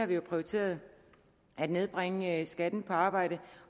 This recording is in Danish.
vi har prioriteret at nedbringe skatten på arbejde